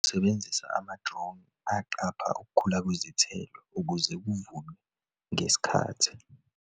Sebenzisa ama-drone aqapha ukukhula kwezithelo ukuze kuvunwe ngesikhathi.